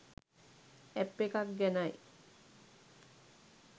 app එකක් ගැනයි